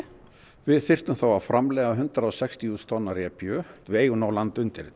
við þyrftum þá að framleiða hundrað og sextíu þúsund tonn af repju við eigum nóg land undir þetta